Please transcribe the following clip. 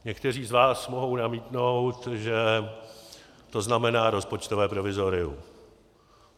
Někteří z vás mohou namítnout, že to znamená rozpočtové provizorium.